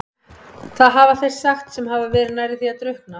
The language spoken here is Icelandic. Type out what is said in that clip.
Það hafa þeir sagt sem hafa verið nærri því að drukkna.